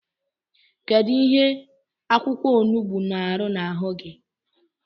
Kedu ihe akwụkwọonugbu na-arụ n’ahụ gi?